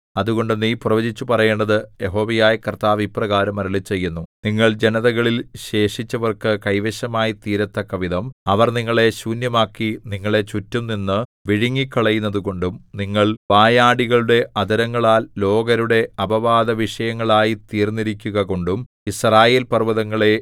അതുകൊണ്ട് നീ പ്രവചിച്ചു പറയേണ്ടത് യഹോവയായ കർത്താവ് ഇപ്രകാരം അരുളിച്ചെയ്യുന്നു നിങ്ങൾ ജനതകളിൽ ശേഷിച്ചവർക്കു കൈവശമായിത്തീരത്തക്കവിധം അവർ നിങ്ങളെ ശൂന്യമാക്കി നിങ്ങളെ ചുറ്റും നിന്നു വിഴുങ്ങിക്കളയുന്നതുകൊണ്ടും നിങ്ങൾ വായാടികളുടെ അധരങ്ങളാൽ ലോകരുടെ അപവാദവിഷയമായിത്തീർന്നിരിക്കുകകൊണ്ടും യിസ്രായേൽപർവ്വതങ്ങളേ